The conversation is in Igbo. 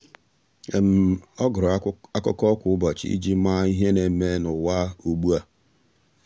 ọ́ gụ́rụ́ ákụ́kọ́ kwa ụ́bọ̀chị̀ iji màá ihe nà-ème n’ụ́wà ugbu a.